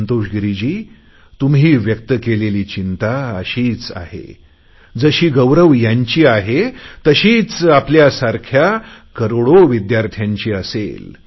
संतोष गिरीजी तुम्ही व्यक्त केलेली चिंता अशीच आहे जशी गौरव यांची आहे तशीच आपल्या सारख्या करोडो विद्यार्थ्यांची असेल